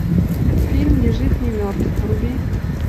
фильм ни жив ни мертв вруби